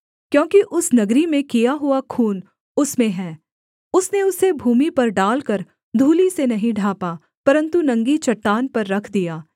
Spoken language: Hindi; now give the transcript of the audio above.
क्योंकि उस नगरी में किया हुआ खून उसमें है उसने उसे भूमि पर डालकर धूलि से नहीं ढाँपा परन्तु नंगी चट्टान पर रख दिया